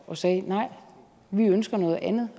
og sagde nej vi ønsker noget andet